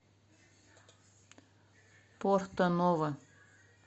порто ново